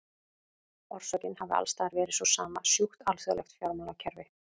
Orsökin hafi alls staðar verið sú sama, sjúkt alþjóðlegt fjármálakerfi.